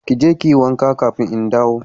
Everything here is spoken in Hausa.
Kije kiyi wanka kafin in dawo.